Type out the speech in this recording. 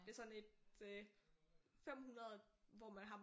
Det er sådan et øh 500 hvor man har